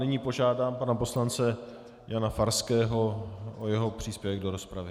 Nyní požádám pana poslance Jana Farského o jeho příspěvek do rozpravy.